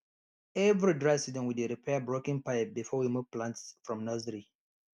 every dry season we dey repair broken pipe before we move plant from nursery